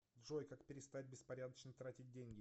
джой как перестать беспорядочно тратить деньги